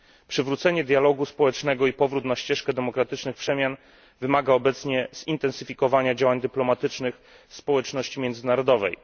Przywrócenie dialogu społecznego i powrót na ścieżkę demokratycznych przemian wymaga obecnie zintensyfikowania działań dyplomatycznych społeczności międzynarodowej.